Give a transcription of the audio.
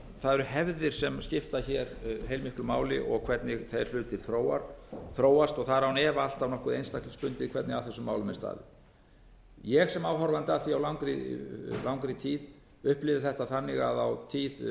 eru hefðir sem skipta hér heilmiklu máli og hvernig þeir hlutir þróast það er án efa alltaf nokkuð einstaklingsbundið hvernig að þessum málum er staðið ég sem áhorfandi að því á langri tíð upplifði þetta þannig að á tíð